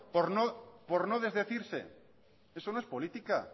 por no desdecirse eso no es política